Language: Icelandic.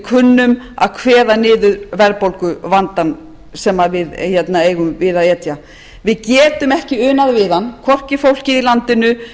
kunnum að kveða niður verðbólguvandann sem við eigum við að etja við getum ekki unað við hann hvorki fólkið í landinu fyrirtækin